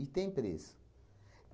tem preço.